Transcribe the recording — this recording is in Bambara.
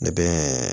Ne bɛ